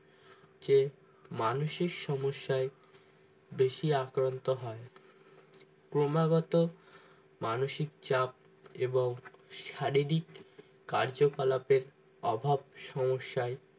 যে মানসিক সমস্যায় বেশি আক্রান্ত হয় ক্রমাগত মানসিক চাপ এবং শারীরিক কার্যকলাপের অভাব সমস্যায়